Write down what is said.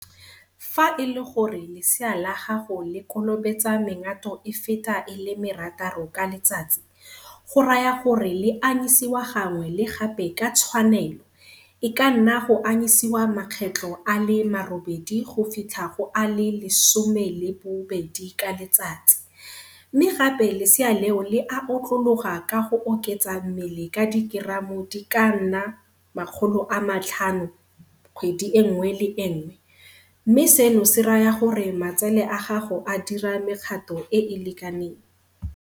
Fa e le gore lesea la gago le kolobetsa mengato e feta e le merataro ka letsatsi, go raya gore le anyisiwa gangwe le gape ka tshwanelo, e ka nna go anyisiwa makgetlo a le marobedi go fitlha go a le lesome le bobedi ka letsatsi, mme gape lesea leo le a otlologa ka go oketsa mmele ka dikeramo di ka nna 500 kgwedi e nngwe le e nngwe, mme seno se raya gore matsele a gago a dira mekgato e e lekaneng.